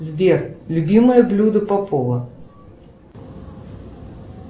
сбер любимое блюдо попова